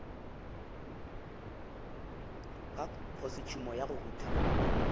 ka khosetšhumo ya go rutha